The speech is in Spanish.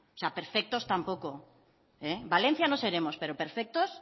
sea perfectos tampoco valencia no seremos pero perfectos